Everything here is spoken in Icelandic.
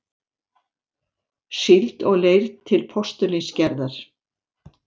síld og leir til postulínsgerðar.